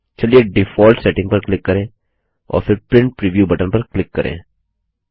चलिए default setting पर click करें और फिर प्रिंट प्रीव्यू बटन पर क्लिक करें